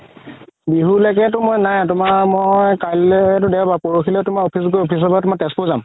বিহু লৈকেতো মই নাই তুমাৰ মই কালিলেতো দেওবাৰ পৰসিলে তুমাৰ office গৈ office ৰ পাই তেজপুৰ যাম